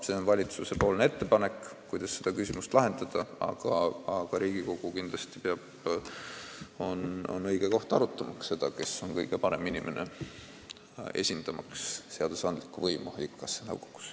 See on valitsuse ettepanek, kuidas seda küsimust lahendada, aga Riigikogu on kindlasti õige koht arutamaks, kes on kõige õigem inimene esindamaks seadusandlikku võimu haigekassa nõukogus.